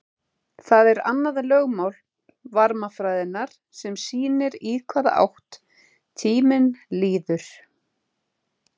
það er annað lögmál varmafræðinnar sem sýnir í hvaða átt tíminn líður